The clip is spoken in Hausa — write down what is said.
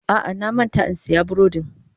A'a, na manta in siyan burodin.